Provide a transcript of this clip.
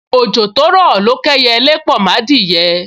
Ojo to ro lo k’eyele po m’adiye